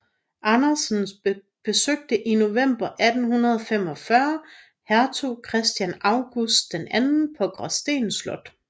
Andersen besøgte i november 1845 hertug Christian August II på Gråsten Slot